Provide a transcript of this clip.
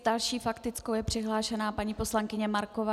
S další faktickou je přihlášena paní poslankyně Marková.